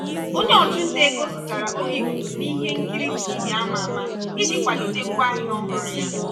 onye ọchụnta ego zụtara oge ikuku na ihe nkiri tv a ma ama iji kwalite ngwaahịa ọhụrụ ha.